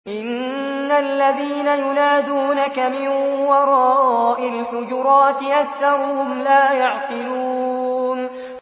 إِنَّ الَّذِينَ يُنَادُونَكَ مِن وَرَاءِ الْحُجُرَاتِ أَكْثَرُهُمْ لَا يَعْقِلُونَ